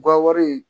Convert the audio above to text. Ga wari